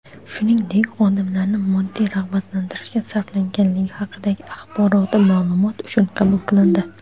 shuningdek xodimlarni moddiy rag‘batlantirishga sarflanganligi haqidagi axboroti ma’lumot uchun qabul qilindi.